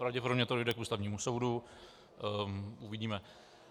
Pravděpodobně to dojde k Ústavnímu soudu, uvidíme.